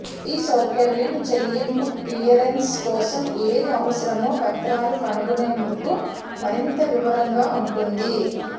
ఈ సౌకర్యం చెల్లింపు క్లియరెన్స్ కోసం ఏది అవసరమో పత్రాలు కనుగొనేందుకు మరింత వివరంగా ఉంటుంది